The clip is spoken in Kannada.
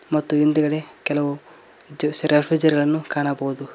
ಮತ್ತು ಹಿಂದುಗಡೆ ಕೆಲವು ರೆಫ್ರಿಜರ್ ನ್ನು ಕಾಣಬಹುದು.